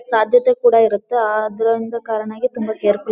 ಸಾಧ್ಯತ್ತೆ ಕೂಡ ಇರುತ್ತೆ ಅದರಿಂದ ಕಾರಣವಾಗಿ ತುಂಬಾ ಕೇರ್ಫುಲ್ --